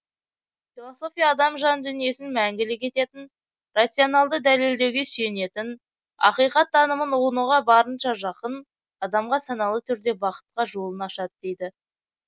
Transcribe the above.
философия адам жан дүниесін мәңгілік ететін рационалды дәлелдеуге сүйенетін ақиқат танымын ұғынуға барынша жақын адамға саналы түрде бақытқа жолын ашады дейді